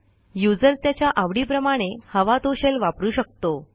user त्याच्या आवडीप्रमाणे हवा तो शेल वापरू शकतो